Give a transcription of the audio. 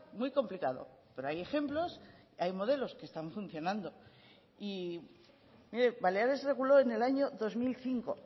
muy complicado pero hay ejemplos hay modelos que están funcionando y mire baleares reguló en el año dos mil cinco